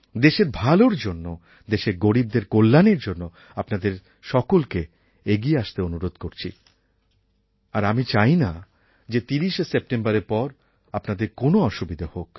দেশের ভালোর জন্য দেশের গরীবদের কল্যাণের জন্য আপনাদের সকলকে এগিয়ে আসতে অনুরোধ করছি আর আমি চাই না যে ৩০শে সেপ্টেম্বরের পর আপনাদের কোনো অসুবিধা হোক